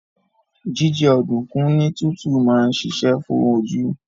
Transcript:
Jíjẹ ọ̀dùnkún ní tútù máa ń ṣiṣẹ́ fún oju